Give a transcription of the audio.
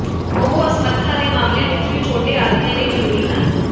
ਉਹ ਅਸਮਰੱਥਾ ਦੇ ਮਾਮਲਿਆਂ ਵਿਚ ਵੀ ਛੋਟੇ ਆਦਮੀਆਂ ਲਈ ਜਰੂਰੀ ਹਨ